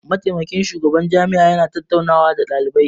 Mataimakin shugaban jami'a ya na tattauna nawa da ɗalibai